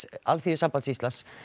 Alþýðusambands Íslands